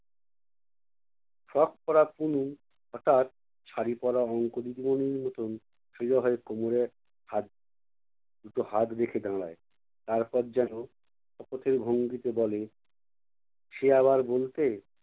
frock পরা তনু হঠাৎ শাড়ি পরা অঙ্কবিদগণের মতন সোজা হয়ে কোমড়ে হাত দুটো হাত রেখে দাঁড়ায়। তারপর যেনো শপথের ভঙ্গিতে বলে, সে আবার বলতে